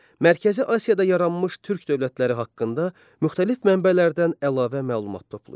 Mərkəzi Asiyada yaranmış türk dövlətləri haqqında müxtəlif mənbələrdən əlavə məlumat toplayın.